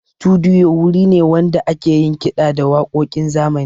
Studiyo wuri ne wanda ake yin kiɗa da waƙoƙin zamani.